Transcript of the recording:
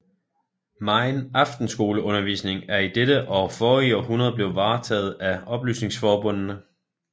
Megen aftenskoleundervisning er i dette og forrige århundrede blevet varetaget af oplysningsforbundene